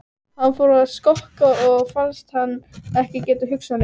Hann fór að skokka og fannst hann ekki geta hugsað lengur.